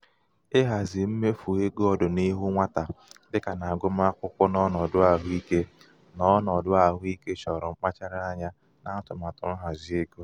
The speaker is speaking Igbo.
ịhazi um mmefu um égo ọdịnihu nwata dị ka n'agụmakwụkwọ na ọnọdụ ahụike na ọnọdụ ahụike choro um mkpachara anya n'atụmatụ nhazi égo.